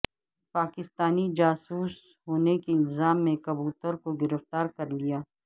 پاکستانی جاسوس ہونے کے الزام میں کبوتر کو گرفتارکرلیا